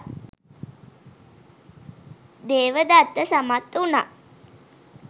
දේවදත්ත සමත් වුනා.